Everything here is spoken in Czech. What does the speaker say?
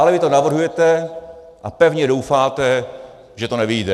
Ale vy to navrhujete a pevně doufáte, že to nevyjde.